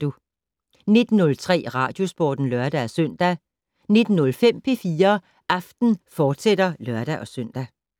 19:03: Radiosporten (lør-søn) 19:05: P4 Aften, fortsat (lør-søn)